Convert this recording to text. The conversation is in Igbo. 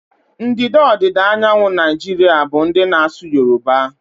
Ndịda ọdịda anyanwụ Naijiria bụ ndị na-asụ yoruba.